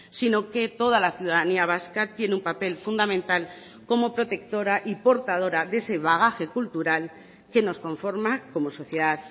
sino que toda la ciudadanía vasca tiene un papel fundamental como protectora y portadora de ese bagaje cultural que nos conforma como sociedad